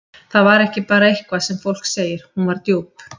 Það var ekki bara eitthvað sem fólk segir, hún var djúp.